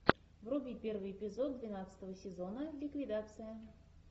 вруби первый эпизод двенадцатого сезона ликвидация